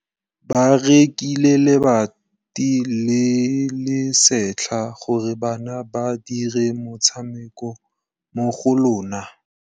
Ba rekile lebati le le setlha gore bana ba dire motshameko mo go lona.